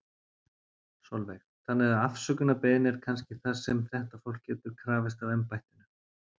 Sólveig: Þannig að afsökunarbeiðni er kannski það sem að þetta fólk getur krafist af embættinu?